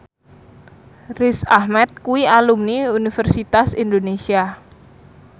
Riz Ahmed kuwi alumni Universitas Indonesia